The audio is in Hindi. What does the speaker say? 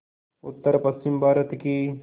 उत्तरपश्चिमी भारत की